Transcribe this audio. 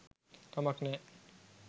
කමක් නෑ